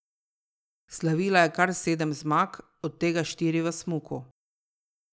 Slavila je kar sedem zmag, od tega štiri v smuku.